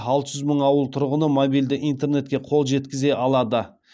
алты жүз мың ауыл тұрғыны мобильді интернетке қол жеткізе алады